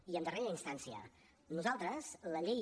i en darrera instància nosaltres la llei